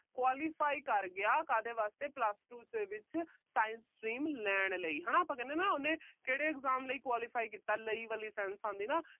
qualify ਕਰ ਗਿਆ ਕਾਹਦੇ ਵਾਸਤੇ plus two ਦੇ ਵਿੱਚ science stream ਲੈਣ ਲਈ ਹਨਾ। ਆਪਾ ਕਹਿੰਦੇ ਆ ਨਾ ਉਹਨੇ ਕਿਹੜੇ exam ਲਈ qualify ਕੀਤਾ। ਲਈ ਵਾਲੀ sense ਆਉਂਦੀ ਆ ਨਾ।